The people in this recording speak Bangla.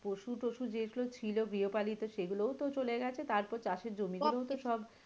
পশু টশু যেগুলো ছিল গৃহপালিত সেগুলোও তো চলে গেছে তারপর চাষের জমি গুলো ও তো সব,